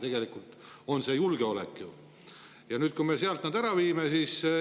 Tegelikult on asi ju ka julgeolekus, kui me sealt need kontorid ära viime.